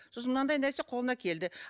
сосын мынандай нәрсе қолынан келді